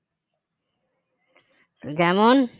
যেমন